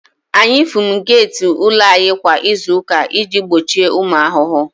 Anyị fumigeeti ụlọ anyị kwa izu ụka iji gbochie ụmụ ahụhụ